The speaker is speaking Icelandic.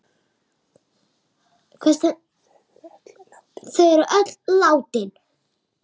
Þau eru öll látin.